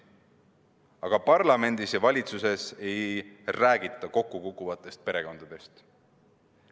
Aga parlamendis ja valitsuses ei räägita kokkukukkuvatest perekondadest.